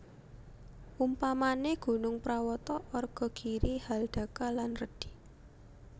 Umpamane gunung prawata arga giri haldaka lan redi